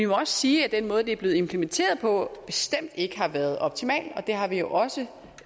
også sige at den måde det er blevet implementeret på bestemt ikke har været optimal og det har vi jo også